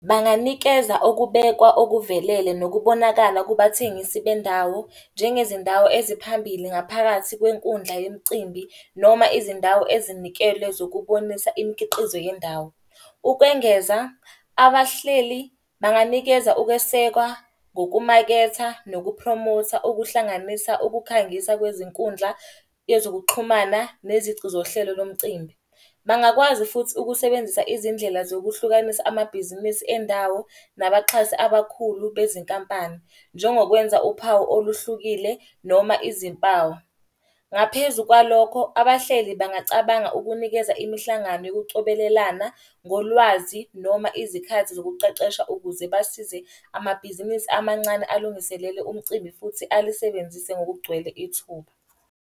Banganikeza okubekwa okuvelele nokubonakala kubathengisi bendawo, njengezindawo eziphambili ngaphakathi kwenkundla yemicimbi noma izindawo ezinikelwe zokubonisa imikhiqizo yendawo. Ukwengeza, abahleli banganikeza ukwesekwa ngokumaketha nokupromotha okuhlanganisa ukukhangisa kwezinkundla, ezokuxhumana, nezici zohlelo lomcimbi. Bangakwazi futhi ukusebenzisa izindlela zokuhlukanisa amabhizinisi endawo nabaxhasi abakhulu bezinkampani. Njengokwenza uphawu oluhlukile noma izimpawu. Ngaphezu kwalokho, abahleli bangacabanga ukunikeza imihlangano yokucobelelana ngolwazi noma izikhathi zokuqeqesha ukuze basize amabhizinisi amancane alungiselele umcimbi futhi alisebenzise ngokugcwele ithuba.